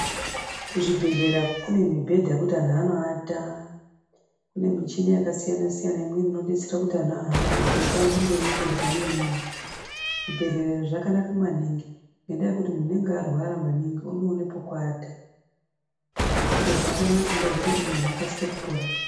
Kuzvibhedhlera kune mibhedha yekuti anhu anoata. Kune muchini yakasiyana siyana inodetsera kuti anhu ahambe kubva panzvimbo imwe kuenda pane imweni. Zvibhedhlera zvakanaka maningi ngendaa yekuti munhu anenge arwara maningi unoona pekuata zvakanakira kuti zvinoita kuti munhu akasike kupora .